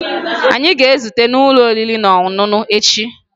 Anyị a ga-ezute n'ụlọ oriri na ọṅụṅụ echi?